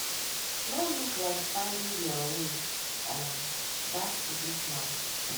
no look like finding dia way um back into dis match